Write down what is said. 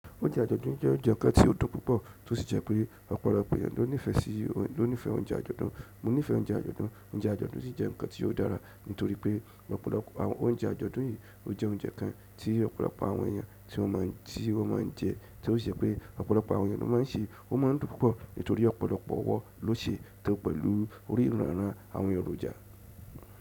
Oúnjẹ àjọ̀dún je oúnjẹ kan ti o dùn púpọ̀, ti o si de je pe ọ̀pọ̀lọpọ̀ àwọn eeyan lo nife sii, nifesii oúnjẹ àjọ̀dún. Mo nífẹ̀ẹ́ oúnjẹ àjọ̀dún, oúnjẹ àjọ̀dún sì jẹ́ ǹkan tí ó dára, nítorí pé ọ̀pọ̀lọpọ̀ oúnjẹ àjọ̀dún yìí, ó jẹ́ oúnjẹ kan tí ọ̀pọ̀lọpọ̀ àwọn èèyàn tí wọ́n máa ń jẹ, tí ó si jẹ́ pé ọ̀pọ̀lọpọ̀ àwọn èèyàn ló máa ń sè, ó máa ń dùn púpọ̀, nítorí ọ̀pọ̀lọpọ̀ ọwọ́ ló sè é, tó pẹ̀lú orí ìrun ranran èròjà.